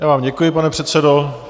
Já vám děkuji, pane předsedo.